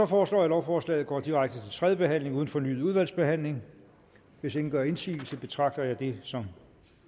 foreslår at lovforslaget går direkte til tredje behandling uden fornyet udvalgsbehandling hvis ingen gør indsigelse betragter jeg det som